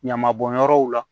Ɲama bɔnyɔrɔw la